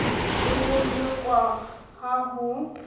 le ho lekolwa ha ho